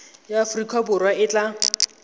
ya aforika borwa e tla